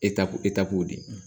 de